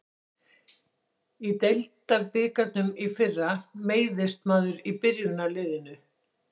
Í deildabikarnum í fyrra meiðist maður í byrjunarliðinu.